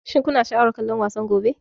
Shin kuna sha'awar kallon wasan gobe?